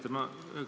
Hea minister!